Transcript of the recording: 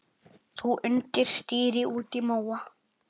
Þú undir stýri út í móa.